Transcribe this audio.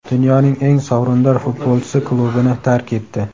Dunyoning eng sovrindor futbolchisi klubini tark etdi.